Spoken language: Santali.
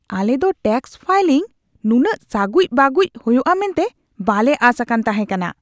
ᱟᱞᱮ ᱫᱚ ᱴᱮᱹᱠᱥ ᱯᱷᱟᱭᱞᱤᱝ ᱱᱩᱱᱟᱹᱜ ᱥᱟᱹᱜᱩᱡ ᱵᱟᱹᱜᱩᱡ ᱦᱩᱭᱩᱜᱼᱟ ᱢᱮᱱᱛᱮ ᱵᱟᱞᱮ ᱟᱥ ᱟᱠᱟᱱ ᱛᱟᱦᱮᱸ ᱠᱟᱱᱟ !